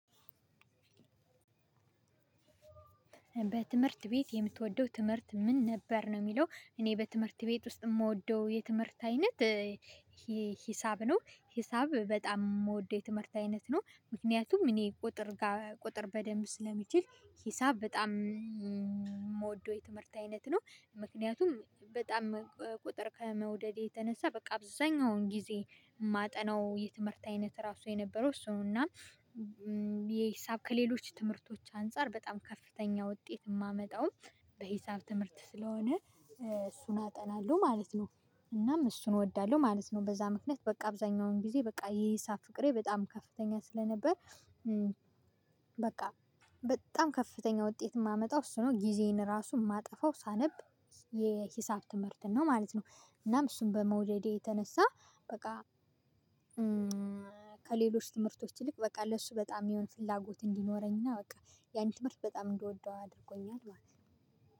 በትምህርት ቤት የምትወደው ትምህርት ምን ነበር ነው የሚለው? እኔ በትምህርት ቤት ውስጥ የምወደው የትምህርት አይነት እ ሂሳብ ነው ሂሳብ በጣም ምወደው የትምህርት አይነት ነው። ምክንያቱም እኔ ቁጥር ጋር ቁጥር በደንብ ስለሚችል ሂሳብ በጣም ምወደው የትምህርት አይነት ነው። ምክንያቱም በጣም ቁጥር ከመውደዴ የተነሳ በቃ አብዛኛውን ጊዜ ማጠናው የትምህርት አይነት ራሱ የነበረው እሱ ነው። እና የ ሂሳብ ከሌሎች ትምህርቶች አንፃር በጣም ከፍተኛ ውጤት ማመጣውም በሂሳብ ትምህርት ስለሆነ እሱን አጠናለሁ ማለት ነው። እናም እሱን እወዳለሁ ማለት ነው። በዛ ምክንያት በቃ አብዛኛውን ጊዜ በቃ የሂሳብ ፍቅሬ በጣም ከፍተኛ ስለነበር በቃ በጣም ከፍተኛ ውጤት ማመጣው እሱ ነው። ጊዜዬን ራሱ ማጠፋው ሳነብ የሂሳብ ትምህርት ነው ማለት ነው። እናም እሱን በመውደዴ የተነሳ በቃ ከሌሎች ትምህርቶች ይልቅ በቃ ለሱ በጣም የሆነ ፍላጎት እንዲኖረኝ በቃ ያን ትምህርት በጣም እንደወደው አድርጎኛል ማለት ነው።